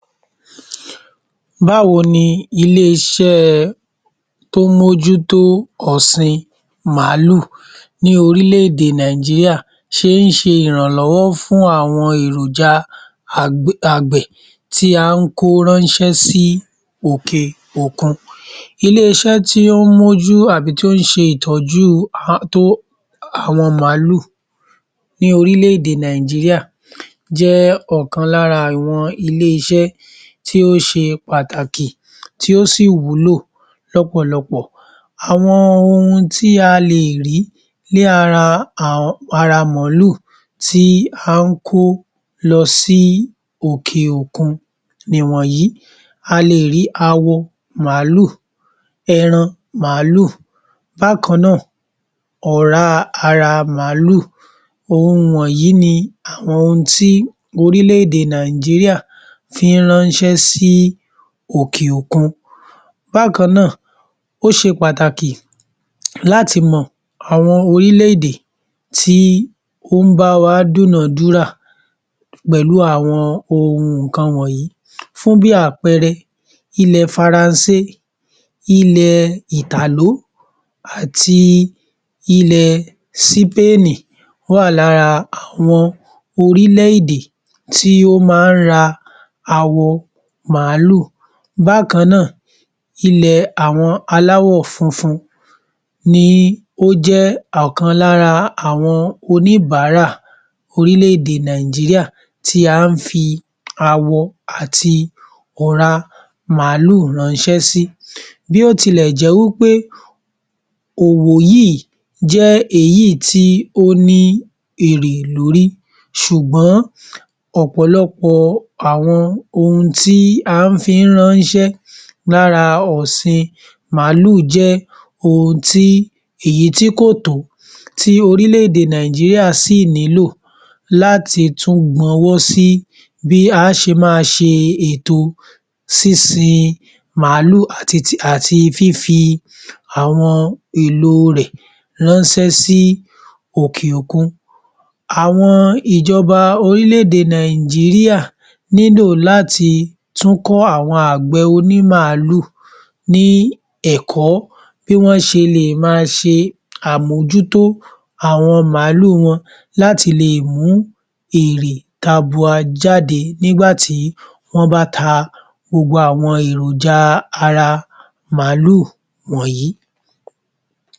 Báwo ni ilé-iṣẹ́ tí ó ń mójútó ọ̀sìn màálù ní orílẹ̀-èdè Nàìjíríà ṣe ń ṣe ìrànlọ́wọ́ fún àwọn èròjà àgbẹ̀ tí à ń ko ránṣẹ́ sí òkè-òkun. Ilé-iṣẹ́ tí ó ń mójú tàbí tí ó ń ṣe ìtójú àwọn màálù ní orílẹ̀-èdè Nàìjíríà jẹ́ ọ̀kan lára àwọn ilé-iṣẹ́ tí ó ṣe pàtàkì tí ó sì wúlò lọ́pọ̀lọpọ̀. Àwọn ohun tí a le è rí ní ara màálù tí à ń kó lọ sí òkè-òkun nì wọ̀nyí. A le è rí awọ màálù, ẹran màálù, bákan náà ọ̀rá ara màálù, ohun wọ̀nyí ni àwọn ohun tí orílẹ̀-èdè Nàìjíríà fi ń ránṣẹ́ sí òkè-òkun. Bákan náà, ó ṣe pàtàkì láti mọ àwọn orílẹ̀-èdè tí ó ń bá wa dúnáà dúrà pẹ̀lú àwọn ohun nǹkan wọ̀nyí. Fún bí àpẹẹrẹ, ilẹ̀ Faransé, ilẹ̀ Ìtàló áti ilẹ̀ Sípáànì wà lára àwọn orílẹ̀-èdè tí ó ma ń ra awọ màálù. Bákan náà, ilẹ̀ àwọn aláwọ̀ funfun ni ó jẹ́ ọ̀kan lára àwọn oníbàárà orílẹ̀-èdè Nàìjíríà tí a ń fi awọ àti ọ̀rá màálù ránṣẹ́ sí. Bí ó tilẹ̀ jẹ́ wí pé òwò yìí jẹ́ èyí tí ó ní èrè lórí ṣùgbọ́n ọ̀pọ̀lọpọ̀ àwọn ohun tí a ń fi ń ránṣẹ́ lára ọ̀sìn màálù jẹ́ èyí tí kò tó, tí orílẹ̀-èdè Nàìjíríà sì nílò láti tún gbọn ọwọ́ sí bí a ṣe má a ṣe ètò sínsin màálù àti fífi àwọn èlo rẹ̀ ránṣẹ́ sí òkè-òkun. Àwọn ìjọba orílẹ̀-èdè Nàìjíríà nílò láti tún kọ́ àwọn àgbẹ̀ oní màálù ní ẹ̀kọ́ bí wọ́n ṣe le è ma ṣe àmójútó àwọn màálù wọn láti le è mú èrè tabúa jáde nígbà tí wọ́n bá ta gbogbo àwọn èròjà ara màálù wọ̀nyí.